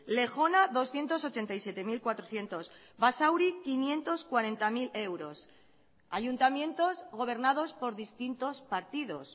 lejona doscientos ochenta y siete mil cuatrocientos basauri quinientos cuarenta mil euros ayuntamientos gobernados por distintos partidos